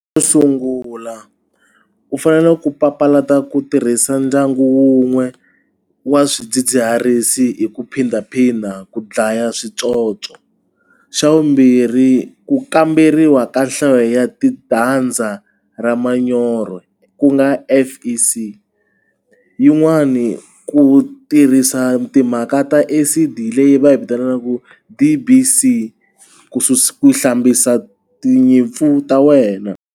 Xo sungula u fanele ku papalata ku tirhisa ndyangu wun'we wa swidzidziharisi hi ku phindaphinda ku dlaya switsotso xa vumbirhi ku kamberiwa ka nhlayo ya ra manyoro ku nga F_E_C yin'wani ku tirhisa timhaka ta acid leyi va yi vitanaka D_B_C ku hlambisa tinyimpfu ta wena.